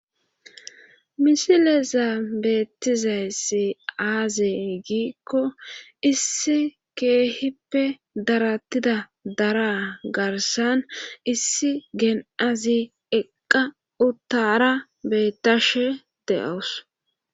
misile zanbeettizayssi aaze giikko issi keehippe darattida dara garsan issi geen7azi eqqa uttara bettashe de'awus